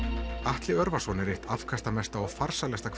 Atli Örvarsson er eitt afkastamesta og farsælasta